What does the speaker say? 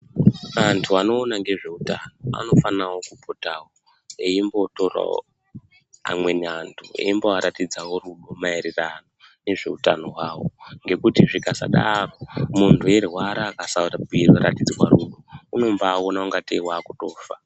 Antu anoona ngezveutano unofana kupotawo eimbotorawo amweni antu eimboaratidzawo kunguma eredano ngezveutano hwavo ngekuti zvikasadaro muntu eirwara akasarapiwa unombaona kungateiwakutofa.